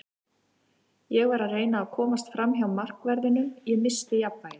Ég var að reyna að komast framhjá markverðinum, ég missti jafnvægið.